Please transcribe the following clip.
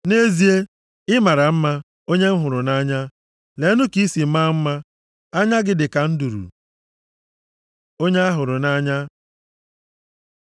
Nʼezie, ị mara mma, onye m hụrụ nʼanya. Leenụ ka ị si maa mma! Anya gị dịka nduru. Onye a hụrụ nʼanya